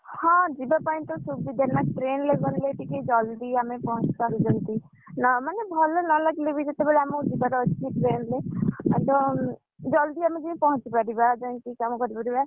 ହଁ ଯିବା ପାଇଁ ତ ସୁବିଧା ନା train ରେ ଗଲେ ଟିକେ ଆମେ ଜଲ୍‌ଦି ଟିକେ ପହଞ୍ଚି ପାରିବୁ, ଭଲ ନ ଲାଗିଲେ ବି ଯେତେବେଳେ ଆମକୁ ଯିବାର ଅଛି train ରେ ତ, ଜଲ୍‌ଦି ଆମେ ଯାଇ ପହଞ୍ଚି ପାରିବା ଯାଇକି କାମ କରି ପାରିବା।